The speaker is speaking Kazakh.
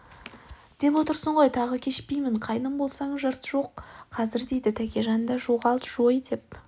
деп отырсың ғой тағы кешпеймін қайным болсаң жырт жой қазір деді тәкежан да жоғалт жой деп